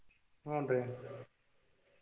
ಹೂನ್ರೀ.